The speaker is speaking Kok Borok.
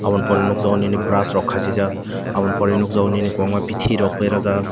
abo ni pore nogjago nini brass rok khasijak abo ni pore nogjago nini kobangma biti rok berajak.